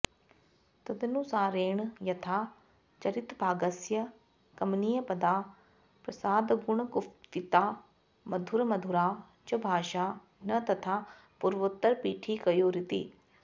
तदनुसारेण यथा चरितभागस्य कमनीयपदा प्रसादगुणगुम्फिता मधुरमधुरा च भाषा न तथा पूर्वोत्तरपीठिकयोरिति